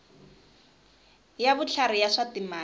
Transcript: ya vutlhari ya swa timali